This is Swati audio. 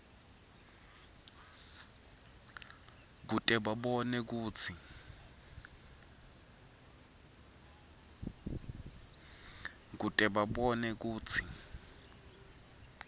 kute babone kutsi